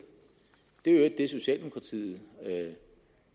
det er i øvrigt det socialdemokratiet